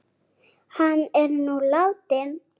Hann er nú látinn.